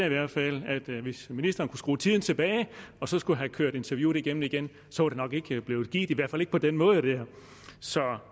i hvert fald at hvis ministeren kunne skrue tiden tilbage og skulle have kørt interviewet igennem igen så var det nok ikke blevet givet i hvert fald ikke på den måde der